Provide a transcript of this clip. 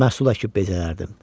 Məhsul əkib bəzərdim.